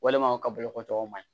Walima u ka boloko tɔw ma ɲi